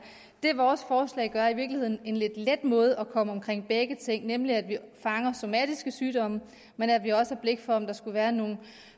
det vores forslag gør er i virkeligheden at skabe en lidt let måde at komme omkring begge ting på nemlig at vi fanger somatiske sygdomme men at vi også har blik for om der skulle være nogle